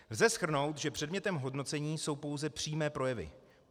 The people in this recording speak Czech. Lze shrnout, že předmětem hodnocení jsou pouze přímé projevy.